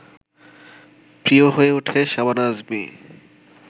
প্রিয় হয়ে ওঠে শাবানা আজমি